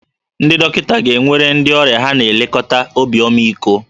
Ndị dọkịta ga-enwere ndị ọrịa ha na-elekọta obi ọmịiko